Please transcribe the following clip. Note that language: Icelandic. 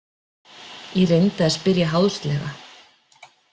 Ég reyndi að spyrja háðslega.